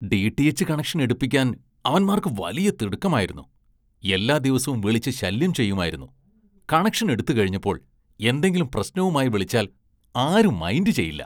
DTH connection‍ എടുപ്പിക്കാന്‍ അവന്മാര്‍ക്ക് വലിയ തിടുക്കമായിരുന്നു, എല്ലാ ദിവസവും വിളിച്ച് ശല്യം ചെയ്യുമായിരുന്നു, കണക്ഷന്‍ എടുത്തുകഴിഞ്ഞപ്പോള്‍ എന്തെങ്കിലും പ്രശ്‌നവുമായി വിളിച്ചാല്‍ ആരും മൈന്‍ഡ് ചെയ്യില്ല.